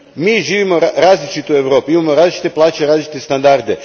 Mi živimo u različitoj Europi, imamo različite plaće, različite standarde.